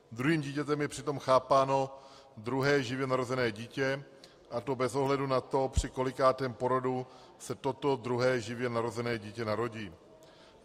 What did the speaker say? Druhým dítětem je přitom chápáno druhé živě narozené dítě, a to bez ohledu na to, při kolikátém porodu se toto druhé živě narozené dítě narodí.